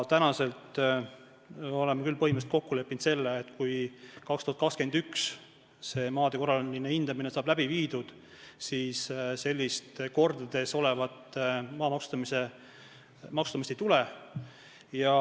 Aga oleme küll põhimõtteliselt kokku leppinud, et kui 2021 maade korraline hindamine saab läbi viidud, siis mitu korda suuremat maa maksustamist ei tule.